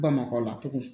Bamakɔ la tugun